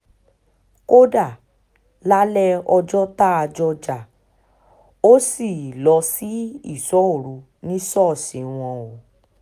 kódà lálẹ́ ọjọ́ tá a jọ jà ó ṣí lọ sí ìṣọ́ òru ní ṣọ́ọ̀ṣì wọn o